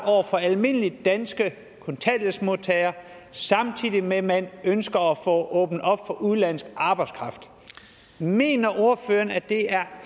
over for almindelige danske kontanthjælpsmodtagere samtidig med at man ønsker at få åbnet op for udenlandsk arbejdskraft mener ordføreren at det er